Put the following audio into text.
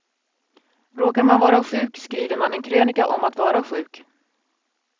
Råkar man vara sjuk skriver man en krönika om att vara sjuk.